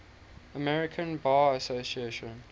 american bar association